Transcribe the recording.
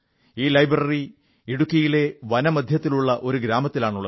ഈ ലൈബ്രറി ഇടുക്കിയിലെ വനമധ്യത്തിലുള്ള ഒരു ഗ്രാമത്തിലാണുള്ളത്